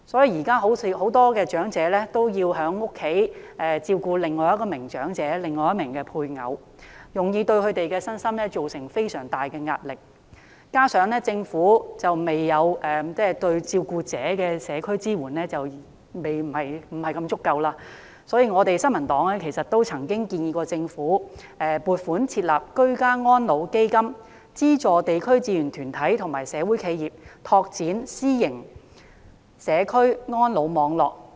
現時很多長者都要在家中照顧另一名長者或配偶，對他們的身心造成非常大的壓力，加上政府對照顧者的社區支援不太足夠，所以，新民黨曾建議政府撥款設立"居家安老基金"，資助地區志願團體及社會企業拓展私營社區安老網絡。